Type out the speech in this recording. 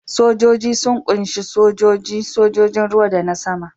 Sojoji sun ƙunshi sojoji, sojojin ruwa da na sama.